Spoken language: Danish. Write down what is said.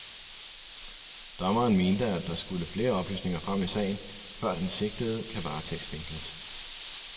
Dommeren mente, at der skulle flere oplysninger frem i sagen, før den sigtede kan varetægtsfængsles.